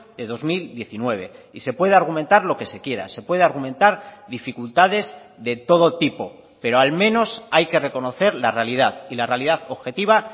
de dos mil diecinueve y se puede argumentar lo que se quiera se puede argumentar dificultades de todo tipo pero al menos hay que reconocer la realidad y la realidad objetiva